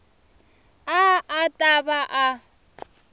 a a ta va a